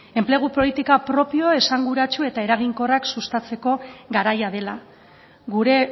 enplegu politika propio esanguratsu eta eraginkorrak sustatzeko garaia dela gure